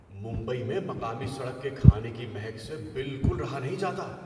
ممبئی میں مقامی سڑک کے کھانے کی مہک سے بالکل رہا نہیں جاتا!